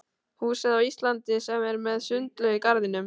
húsið á Íslandi sem er með sundlaug í garðinum.